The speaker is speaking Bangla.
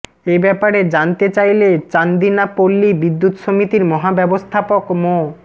এ ব্যাপারে জানতে চাইলে চান্দিনা পল্লী বিদ্যুৎ সমিতির মহাব্যবস্থাপক মো